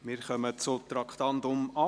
Wir kommen zum Traktandum 8: